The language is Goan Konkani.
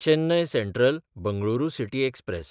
Chennai सँट्रल–बंगळुरू city express